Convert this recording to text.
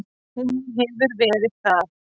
Hún hefur verið það.